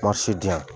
diyan